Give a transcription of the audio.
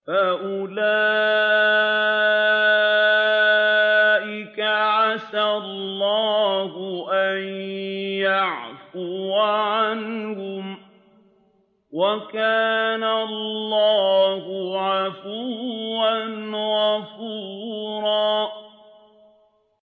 فَأُولَٰئِكَ عَسَى اللَّهُ أَن يَعْفُوَ عَنْهُمْ ۚ وَكَانَ اللَّهُ عَفُوًّا غَفُورًا